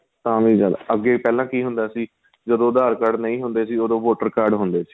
ਤਾਂ ਵੀ ਜਿਆਦਾ ਅੱਗੇ ਪਹਿਲਾਂ ਕੀ ਹੁੰਦਾ ਸੀ ਜਦੋਂ aadhar card ਨਹੀਂ ਹੁੰਦੇ ਸੀ ਉਹਦੋ voter card ਹੁੰਦੇ ਸੀ